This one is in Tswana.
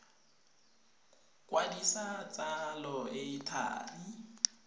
kwadisa tsalo e e thari